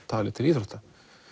talin til íþrótta